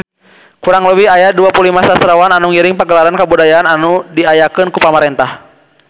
Kurang leuwih aya 25 sastrawan anu ngiring Pagelaran Kabudayaan anu diayakeun ku pamarentah